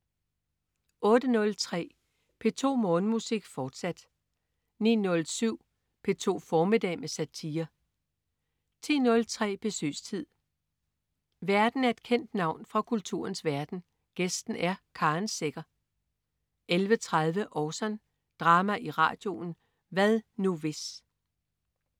08.03 P2 Morgenmusik, fortsat 09.07 P2 formiddag med satire 10.03 Besøgstid. Værten er et kendt navn fra kulturens verden, gæsten er Karen Secher 11.30 Orson. Drama i radioen. "Hvad nu hvis?"